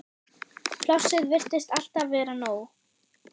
Plássið virtist alltaf vera nóg.